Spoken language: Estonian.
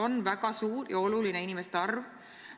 Aga see on siiski väga suur inimeste arv.